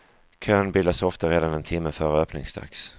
Kön bildas ofta redan en timme före öppningsdags.